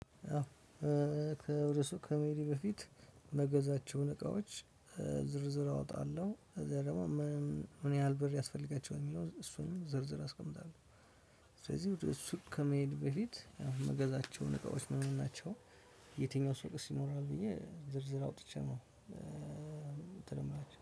ከእርሱ ከመሄዴ በፊት ምገዛቸውን እቃዎች ዝርዝር አወጣለሁ። ከዛ ደግሞ ምን ያህል ብር ያስፈልጋቸዋል የሚለውን እሱን ዘርዝሬ አስቀምጣለሁ። ስለዚህ ከሱ ከመሄዴ በፊት የምገዛቸውን እቃዎች ምን ምን ናቸው? የትኛው ሱቅስ ይኖራል ብዬ ዝርዝር አውጥቼ ነው። የምትለምነው